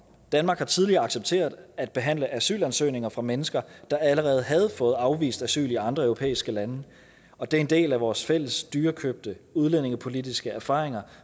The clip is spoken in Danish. danmark har tidligere accepteret at behandle asylansøgninger fra mennesker der allerede havde fået afvist asyl i andre europæiske lande og det er en del af vores fælles dyrekøbte udlændingepolitiske erfaringer